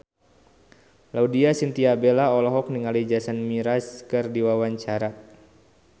Laudya Chintya Bella olohok ningali Jason Mraz keur diwawancara